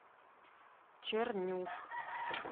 чернюк